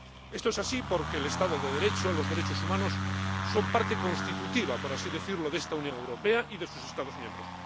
Esto es así porque el Estado de Derecho, los derechos humanos, son partes constitutivas por así decirlo de esta Unión Europea y de sus Estados miembros